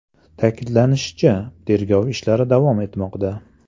Ta’kidlanishicha, tergov ishlari davom etmoqda.